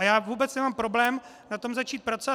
A já vůbec nemám problém na tom začít pracovat.